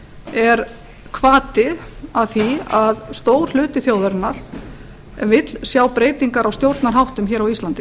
er hvati að því að stór hluti þjóðarinnar vill sjá breytingar á stjórnarháttum hér á íslandi